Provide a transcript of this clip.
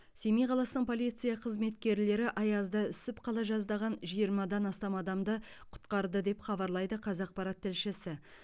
семей қаласының полиция қызметкерлері аязда үсіп қала жаздаған жиырмадан астам адамды құтқарды деп хабарлайды қазақпарат тілшісі